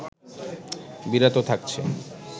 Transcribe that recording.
বিরত থাকছে